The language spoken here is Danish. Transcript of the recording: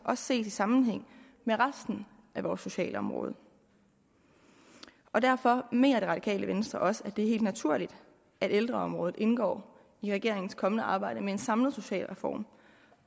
også ses i sammenhæng med resten af vores socialområde og derfor mener det radikale venstre også at det er helt naturligt at ældreområdet indgår i regeringens kommende arbejde med en samlet socialreform